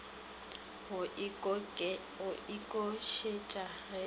go oketšega ge e le